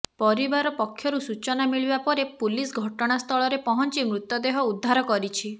ପରିବାର ପକ୍ଷରୁ ସୂଚନା ମିଳିବା ପରେ ପୁଲିସ ଘଟଣାସ୍ଥଳରେ ପହଞ୍ଚି ମୃତଦେହ ଉଦ୍ଧାର କରିଛି